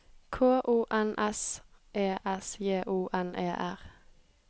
K O N S E S J O N E R